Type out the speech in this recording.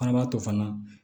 Fana b'a to fana